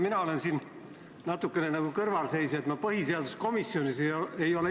Mina olen siin natuke nagu kõrvalseisja, sest ma põhiseaduskomisjonis ise olnud ei ole.